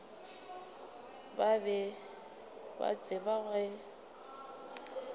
ba be ba tseba ge